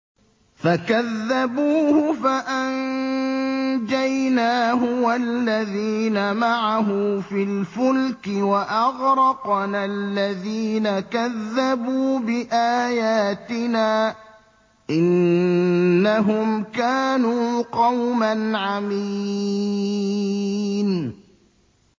فَكَذَّبُوهُ فَأَنجَيْنَاهُ وَالَّذِينَ مَعَهُ فِي الْفُلْكِ وَأَغْرَقْنَا الَّذِينَ كَذَّبُوا بِآيَاتِنَا ۚ إِنَّهُمْ كَانُوا قَوْمًا عَمِينَ